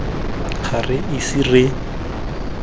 ga re ise re kgaogane